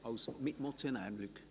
– Das ist der Fall.